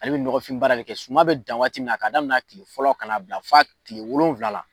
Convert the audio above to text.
Ale bi nɔgɔfin baara de kɛ suman bi dan waati min na ka daminɛ a kile fɔlɔ ka na bila fɔ a kile wolonwula la.